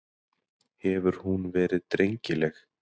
Hefur hún verið drengileg?